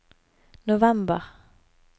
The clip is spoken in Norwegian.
november